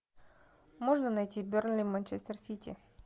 можно найти бернли манчестер сити